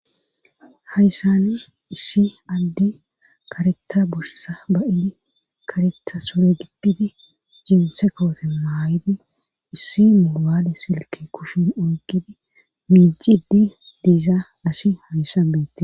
Hayssani issi addi karetta bushisa ba7idi kareta sure giddidi jinse kowote maayidi issi moobaale silki kushin oygidi miiciddi diiza asi hayssa beette